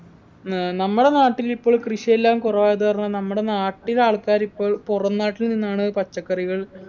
ഏർ നമ്മളെ നാട്ടിലിപ്പോൾ കൃഷിയെല്ലാം കുറവായതു കാരണം നമ്മടെ നാട്ടിൽ ആൾക്കാരിപ്പോൾ പുറംനാട്ടിൽ നിന്നാണ് പച്ചക്കറികൾ